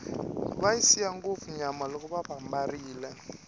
va siya ngopfu nyama loko vambarile